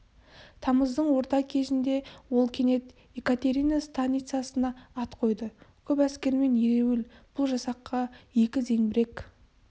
тамыздың орта кезінде ол кенет екатерина станицасына ат қойды көп әскермен ереуіл- бұл жасаққа екі зеңбірек